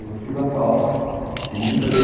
Eu só fiz a FAO e não entrei.